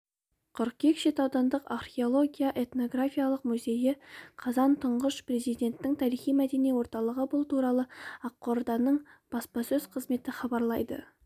қыркүйек шет аудандық археология-этнографиялық музейі қазан тұңғыш президенттің тарихи-мәдени орталығы бұл туралы ақорданың баспасөз қызметі хабарлайды